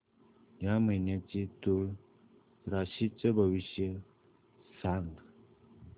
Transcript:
या महिन्याचं तूळ राशीचं भविष्य सांग